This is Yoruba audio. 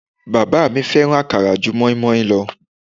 Bàbá mi fẹ́ràn akara ju moinmoin lọ